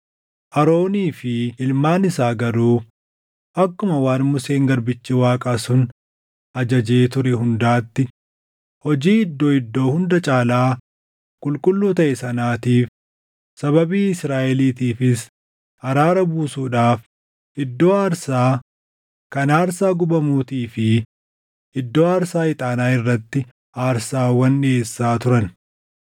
Aroonii fi ilmaan isaa garuu akkuma waan Museen garbichi Waaqaa sun ajajee ture hundaatti hojii Iddoo Iddoo Hunda Caalaa Qulqulluu taʼe sanaatiif, sababii Israaʼeliitiifis araara buusuudhaaf iddoo aarsaa kan aarsaa gubamuutii fi iddoo aarsaa ixaanaa irratti aarsaawwan dhiʼeessaa turan.